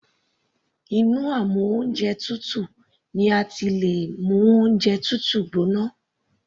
Inú amú oúnjẹ tutù ni a ti lè mú oúnjẹ tútù gbóná.